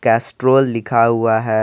Castrol लिखा हुआ है।